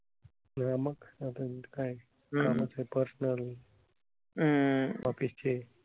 तेव्हा मग कामं तर असणारच. office ची.